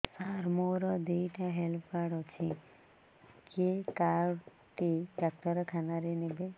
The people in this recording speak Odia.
ସାର ମୋର ଦିଇଟା ହେଲ୍ଥ କାର୍ଡ ଅଛି କେ କାର୍ଡ ଟି ଡାକ୍ତରଖାନା ରେ ନେବେ